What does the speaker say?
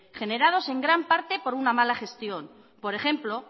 generados en gran parte por una mala gestión por ejemplo